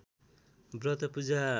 व्रत पूजा